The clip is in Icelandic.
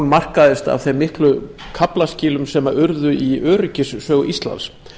markast af þeim miklu kaflaskilum sem urðu í öryggissögu íslands